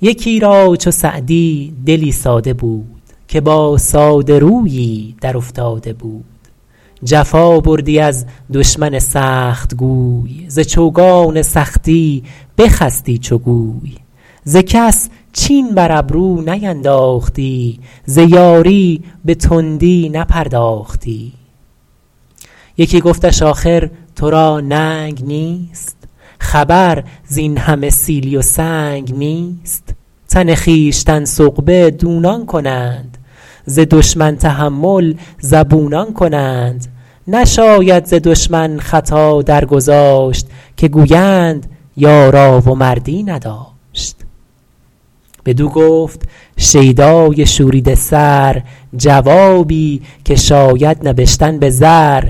یکی را چو سعدی دلی ساده بود که با ساده رویی در افتاده بود جفا بردی از دشمن سختگوی ز چوگان سختی بخستی چو گوی ز کس چین بر ابرو نینداختی ز یاری به تندی نپرداختی یکی گفتش آخر تو را ننگ نیست خبر زین همه سیلی و سنگ نیست تن خویشتن سغبه دونان کنند ز دشمن تحمل زبونان کنند نشاید ز دشمن خطا درگذاشت که گویند یارا و مردی نداشت بدو گفت شیدای شوریده سر جوابی که شاید نبشتن به زر